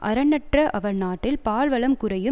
அறனற்ற அவர் நாட்டில் பால் வளம் குறையும்